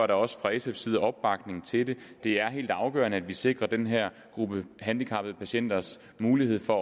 der også fra sfs side opbakning til det det er helt afgørende at vi sikrer den her gruppe handicappede patienters mulighed for